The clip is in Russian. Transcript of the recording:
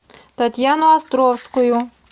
татьяну островскую